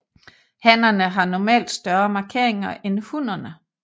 Hannerne har normalt større markeringer end hunnerne